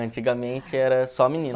Antigamente era só